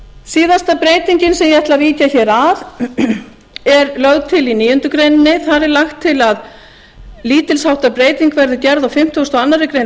síðasta breytingin sem ég ætla að víkja hér að er lögð til í níundu grein þar er lagt til að lítilsháttar breyting verði gerð á fimmtugasta og aðra grein